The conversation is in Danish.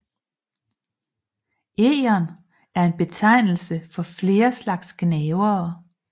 Egern er en betegnelse for flere slags gnavere